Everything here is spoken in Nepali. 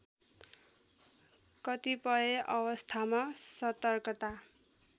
कतिपय अवस्थामा सतर्कता